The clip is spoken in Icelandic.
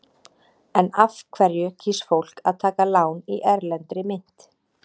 En af hverju kýs fólk að taka lán í erlendri mynt?